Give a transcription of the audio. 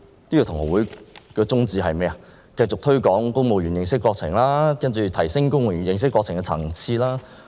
那便是繼續推廣公務員認識國情，提升公務員認識國情的層次。